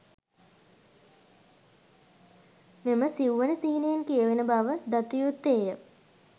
මෙම සිව්වන සිහිනයෙන් කියවෙන බව දතයුත්තේය.